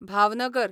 Bhavnagar